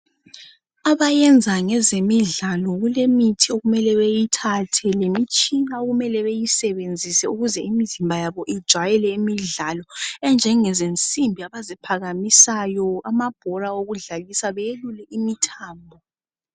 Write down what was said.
Abayenza ngezemidlalo kulemithi okumele beyithathe lemitshina okumele beyisebenzise ukuze imizimba yabo ijayele imidlalo enjenge zensimbi abaziphakamisayo amabhora okudlalisa beyelule imithambo.